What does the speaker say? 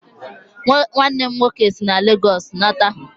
Nwannem nwoke si na Lagos lọta